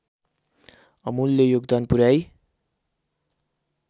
अमूल्य योगदान पुर्‍याई